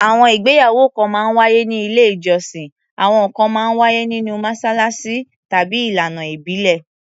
Àwọn ìgbéyàwó kan máa ń wáyé ní ilé-ìjọsìn, àwọn kan máa ń wáyé nínú mọ́ṣáláṣí, tàbí ìlànà ìbílẹ̀.